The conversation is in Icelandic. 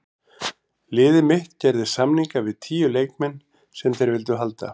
Liðið mitt gerði samninga við tíu leikmenn sem þeir vildu halda.